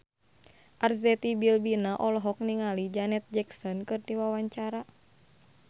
Arzetti Bilbina olohok ningali Janet Jackson keur diwawancara